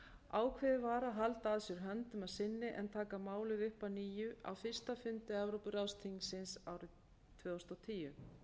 ákveðið var að halda að sér höndum að sinni en taka málið upp að nýju á fyrsta fundi evrópuráðsþingsins árið tvö þúsund og tíu